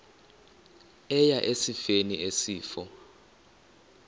eya esifeni isifo